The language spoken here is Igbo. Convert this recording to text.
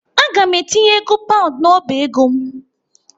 Aga m etinye ego paund n'ọba ego m.